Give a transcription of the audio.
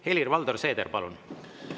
Helir-Valdor Seeder, palun!